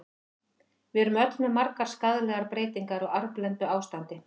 Við erum öll með margar skaðlegar breytingar, á arfblendnu ástandi.